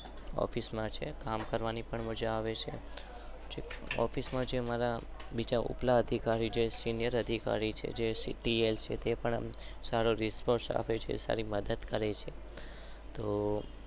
Office માં છે કામ કરવાની પણ મજા આવે છે.